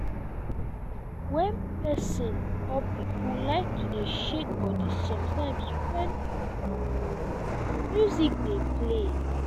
wen person or pipo like to dey shake body sometime when music dey play